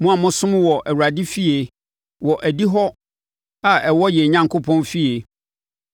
mo a mosom wɔ Awurade fie, wɔ adihɔ a ɛwɔ yɛn Onyankopɔn fie.